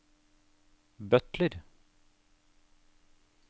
butler